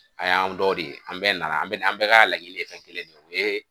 A y'anw dɔ de ye, an bɛɛ nana, an bɛ an bɛ ka laɲini ye fɛn kelen de ye , o ye